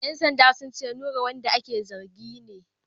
‘Yan sandan sun ce Nura wanda ake zargi ne.